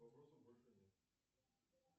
вопросов больше нет